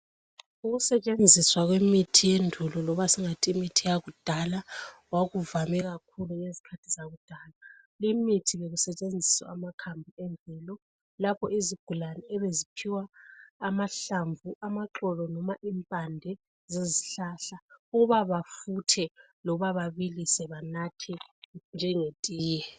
Ukusetshenziswa kwemithi yendulo loba singathi imithi yakudala, kwakuvame kakhulu ngezikhathi zakudala. Imithi bekusetshenziswa amakhambi emvelo lapho izigulane ebeziphiwa amahlamvu, amaxolo loba impande zezihlahla, ukuba bafuthe loba babilise abanathe njengetiye.